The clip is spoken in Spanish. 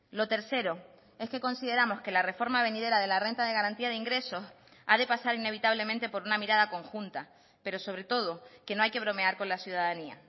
lo tercero es que consideramos que la reforma venidera de la renta de garantía de ingresos a de pasar inevitablemente por una mirada conjunta pero sobre todo que no hay que bromear con la ciudadanía